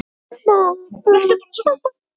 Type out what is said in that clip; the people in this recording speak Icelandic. Sterk tengsl móður og sonar.